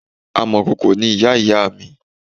Amọ̀kòkò ni ìyá ìyá mi